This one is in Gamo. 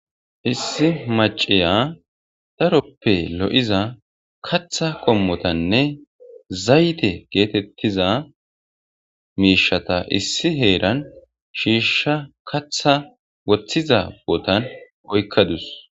Issi maciya daroppe lo'iza katha qommotanne zayte geetettiza miishata issi heeran shiishsha katha woththiza botan oykkadus.